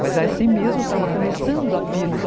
Mas assim mesmo estava começando a pílula.